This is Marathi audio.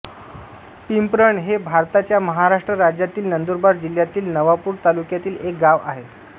पिंपरण हे भारताच्या महाराष्ट्र राज्यातील नंदुरबार जिल्ह्यातील नवापूर तालुक्यातील एक गाव आहे